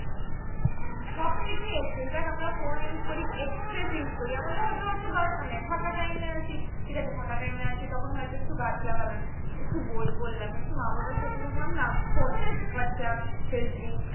হম সবকিছুই excess দেখ আমরা phone use করি excess use করি এমন ধর হয়তো দরকার নাই ফাঁকা time এ আছি ঠিক আছে ফাঁকা time এ আছি তখন হয়তো একটু গাছ লাগলাম একটু বই পড়লাম একটু মা বাবার সাথে থাকলাম না phone what's app facebook